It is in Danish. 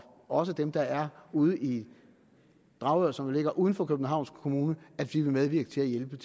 også dem der er ude i dragør som ligger uden for københavns kommune vil medvirke til at hjælpe